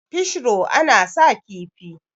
fish ro ana sa kifi